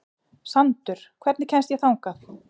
Sandur, hvernig kemst ég þangað?